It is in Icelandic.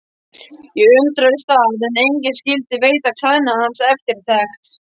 Ég undraðist það að enginn skyldi veita klæðnaði hans eftirtekt.